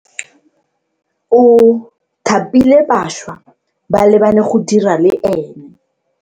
O thapile bašwa ba le bane go dira le ena.